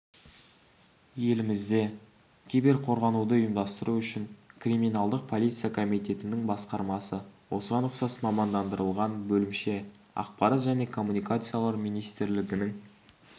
елімізде киберқорғануды ұйымдастыру үшін криминалдық полиция комитетінің басқармасы осыған ұқсас мамандандырылған бөлімше ақпарат және коммуникациялар министрлігінің